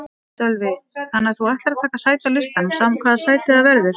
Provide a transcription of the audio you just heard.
Sölvi: Þannig að þú ætlar að taka sæti á listanum sama hvaða sæti það verður?